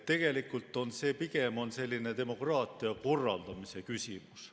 Tegelikult on see pigem selline demokraatia korraldamise küsimus.